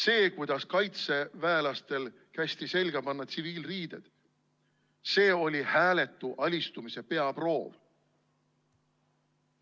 See, kuidas kaitseväelastel kästi selga panna tsiviilriided, oli hääletu alistumise peaproov.